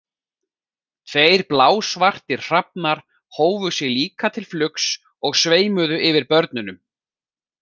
Tveir blásvartir hrafnar hófu sig líka til flugs og sveimuðu yfir börnunum.